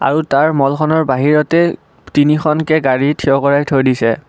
আৰু তাৰ মলখনৰ বাহিৰতে তিনিখনকে গাড়ী থিয় কৰা থৈ দিছে।